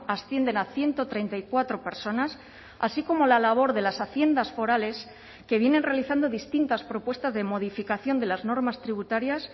ascienden a ciento treinta y cuatro personas así como la labor de las haciendas forales que vienen realizando distintas propuestas de modificación de las normas tributarias